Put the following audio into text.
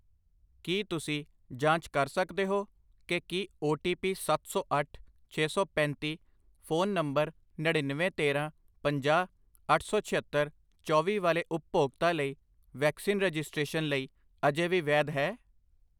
ਕੀ ਤੁਸੀਂ ਜਾਂਚ ਕਰ ਸਕਦੇ ਹੋ ਕਿ ਕੀ ਓ ਟੀ ਪੀ ਸੱਤ ਸੌ ਅੱਠ, ਛੇ ਸੌ ਪੈਂਤੀ ਫ਼ੋਨ ਨੰਬਰ ਨੜਿੱਨਵੇਂ, ਤੇਰਾਂ, ਪੰਜਾਹ, ਅੱਠ ਸੌ ਛਿਅੱਤਰ, ਚੌਵੀ ਵਾਲੇ ਉਪਭੋਗਤਾ ਲਈ ਵੈਕਸੀਨ ਰਜਿਸਟ੍ਰੇਸ਼ਨ ਲਈ ਅਜੇ ਵੀ ਵੈਧ ਹੈ?